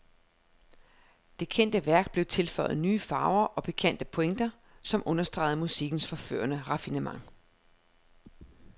Det kendte værk blev tilføjet nye farver og pikante pointer, som understregede musikkens forførende raffinement.